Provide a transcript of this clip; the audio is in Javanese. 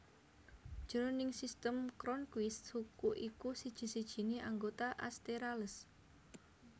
Jroning Sistem Cronquist suku iku siji sijiné anggota Asterales